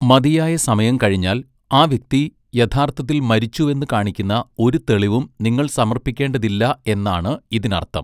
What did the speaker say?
മതിയായ സമയം കഴിഞ്ഞാൽ ആ വ്യക്തി യഥാർത്ഥത്തിൽ മരിച്ചുവെന്ന് കാണിക്കുന്ന ഒരു തെളിവും നിങ്ങൾ സമർപ്പിക്കേണ്ടതില്ല എന്നാണ് ഇതിനർത്ഥം.